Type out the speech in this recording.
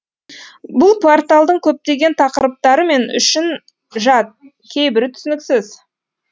бұл порталдың көптеген тақырыптары мен үшін жат кейбірі түсініксіз